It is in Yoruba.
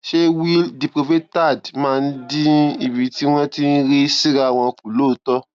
ṣé wi diprovaterd máa ń dín ibi tí wón ti rí síra wọn kù lóòótó